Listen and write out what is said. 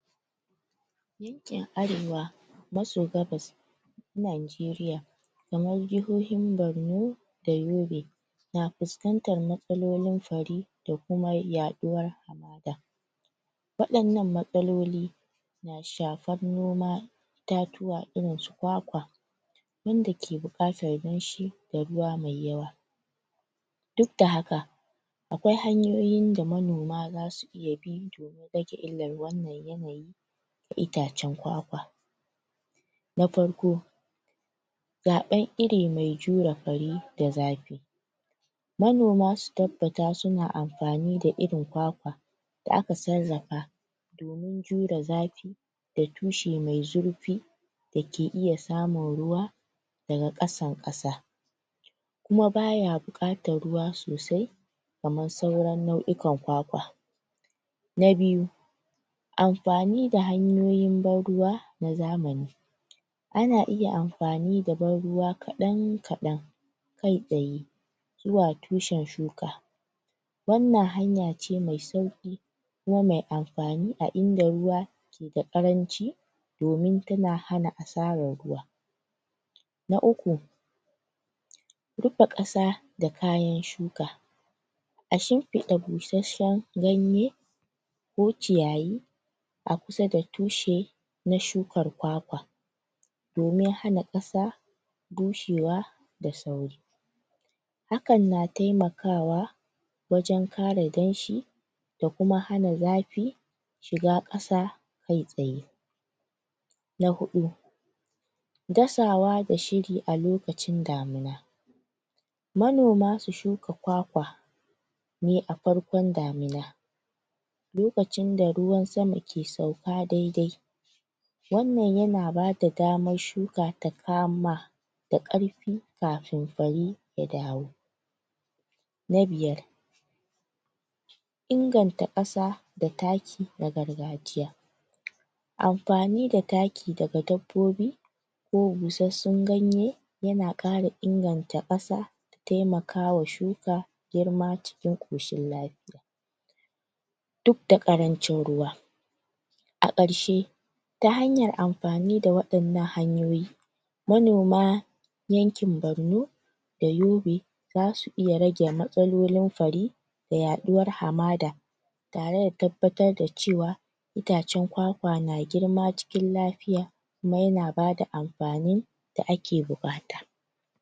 Yankin arewa maso gabas Nanjeriya kamar jihohin Barno da Yobe na fuskantar matsalolin fari da kuma yaɗuwar hamada, waɗannan matsaloli na shafar noma itatuwa irinsu kwakwa, yanda ke buƙatar danshi da ruwa me yawa, dudda haka akwai hanyoyin da manoma zasu iya bi domin rage illar wannan yanayi itacen kwakwa, na farko: Zaɓn iri me jure fari da zafi, manoma su tabbata suna amfani da irin kwakwa da aka sarrafa domin jure zafi da tushe me zurfi da ke iya samun ruwa daga ƙasan ƙasa, kuma baya buƙatar ruwa sosai kaman sauran nau'ikan kwakwa. Na biyu: Amfani da hanyoyin ban ruwa na zamani, ana iya amfani da ban ruwa kaɗan kaɗan kai tsaye zuwa tushen shuka, wannan hanya ce mai sauƙi kuma me amfani a inda ruwa keda ƙaranci domin tana hana asarar ruwa. Na uku: Rufe ƙasa da kayan shuka, a shimfiɗa busashshen ganye ko ciyayi a kusa da tushe na shukar kwakwa domin hana ƙasa bushewa da sauri, hakan na taimakawa wajen kare danshi da kuma hana zafi shiga ƙasa kai tsaye. Na huɗu: Dasawa da shiri a lokacin damina, manoma su shuka kwakwa ne a farkon damina, lokacin da ruwan sama ke sauka daidai, wannan yana bada damshshuka ta kama da ƙarfi kafin fari ya dawo. Na biyar: Inganta ƙasa da taki na gargajiya, amfani da taki daga dabbobi ko busassun ganye yana ƙara inganta ƙasa, taimakawa shuka, girma cikin ƙoshin lafiya, duk da ƙarancin ruwa a ƙarshe ta hanyar amfani da waɗannan hanyoyi manoma yankin Barno da Yobe zasu iya rage matsalolin fari da yaɗuwar hamada tare da tabbatar da cewa itacen kwakwa na girma cikin lafiya kuma yana bada amfanin da ake buƙata.